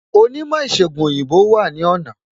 Onímò ìsègùn òyìnbó wà ní ọ̀nà